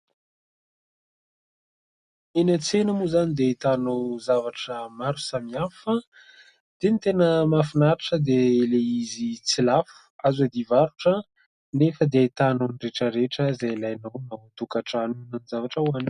Eny an-tsena moa izany dia ahitanao zavatra maro samihafa. Dia ny tena mahafinaritra dia ilay izy tsy lafo, azo iadiam-barotra, nefa dia ahitanao ny rehetra rehetra izay ilainao ao an-tokantrano na ny zavatra hohanina.